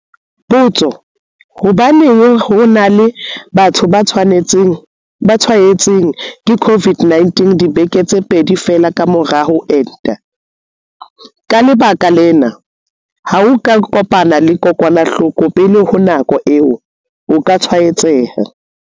Potso- Hobaneng ho e na le batho ba tshwaetswang ke COVID-19 dibeke tse pedi feela ka mora ho enta? Ka lebaka lena, ha o ka kopana le kokwanahloko pele ho nako eo, o ka tshwaetseha.